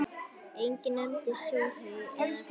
Enginn nefndi súrhey eða fúkka.